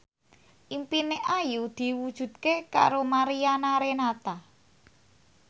impine Ayu diwujudke karo Mariana Renata